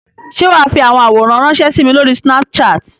Ṣé wà á fi àwọn àwòrán ránṣẹ́ sí mi lórí Snapchat?